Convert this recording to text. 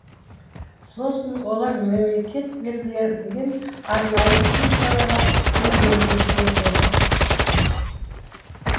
сосын олар мемлекет белгілеген арнайы клиникаларға емделуге жіберіледі